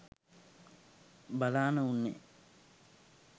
බලාන උන්නෙ.